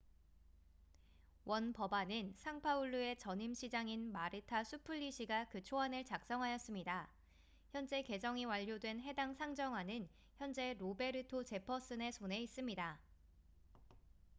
원 법안은 상파울루의 전임 시장인 마르타 수플리시가 그 초안을 작성하였습니다 현재 개정이 완료된 해당 상정안은 현재 로베르토 제퍼슨의 손에 있습니다